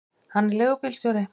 Hann er leigubílstjóri.